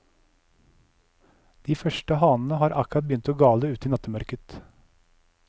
De første hanene har akkurat begynt å gale ute i nattemørket.